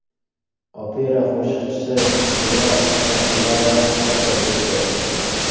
Opera qo‘shiqchisi Zurab Sotkilava vafot etdi.